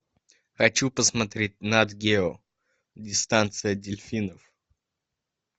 хочу посмотреть нат гео дистанция дельфинов